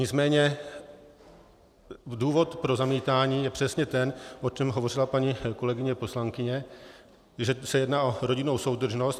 Nicméně důvod pro zamítání je přesně ten, o čem hovořila paní kolegyně poslankyně, že se jedná o rodinnou soudržnost.